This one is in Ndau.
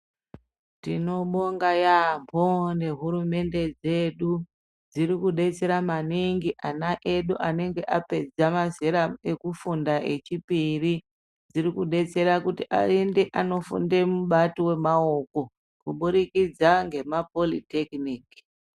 Tinobonga yambo nehurumende dzeedu dziri kudetsera maningi ana edu anenge apedza mazera kufunda echipiri dziri kudetsera kuti ayende kundofunda mubata wemaoko kubudikidza nema politekinikisi.